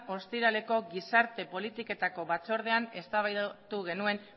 ostiraleko gizarte politiketako batzordean eztabaidatu genuen